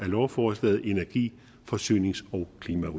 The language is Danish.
lovforslaget i energi forsynings og